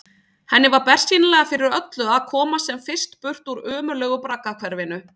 Henni var bersýnilega fyrir öllu að komast sem fyrst burt úr ömurlegu braggahverfinu.